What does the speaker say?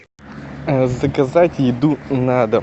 заказать еду на дом